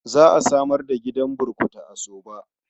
Za a samar da gidan burkutu a Sabo.